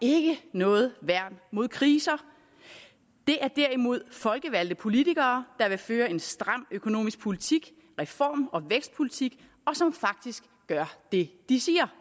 er ikke noget værn mod kriser det er derimod folkevalgte politikere der vil føre en stram økonomisk politik reform og vækstpolitik og som faktisk gør det de siger